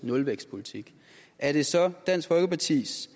nulvækstpolitik er det så dansk folkepartis